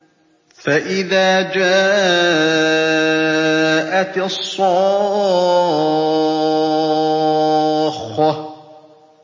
فَإِذَا جَاءَتِ الصَّاخَّةُ